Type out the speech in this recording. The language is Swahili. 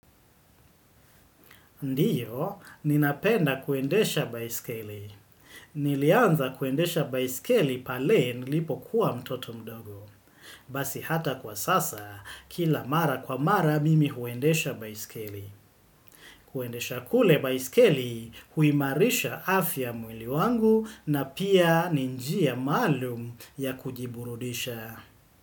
Ndiyo, ninapenda kuendesha baiskeli. Nilianza kuendesha baiskeli pale nilipo kuwa mtoto mdogo. Basi hata kwa sasa, kila mara kwa mara mimi huendesha baiskeli. Kuendesha kule baiskeli huimarisha afya mwili wangu na pia ni njia maalum ya kujiburudisha.